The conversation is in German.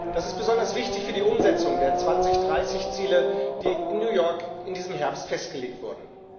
Das ist besonders wichtig für die Umsetzung der 2030 Ziele, die in New York in diesem Herbst festgelegt wurden.